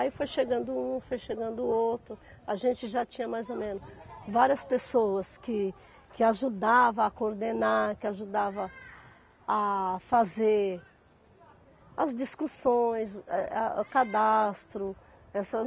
Aí foi chegando um, foi chegando outro, a gente já tinha mais ou menos várias pessoas que que ajudavam a coordenar, que ajudavam a fazer as discussões, eh a o cadastro. Essa